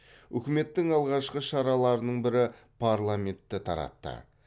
үкіметтің алғашқы шараларының бірі парламентті таратты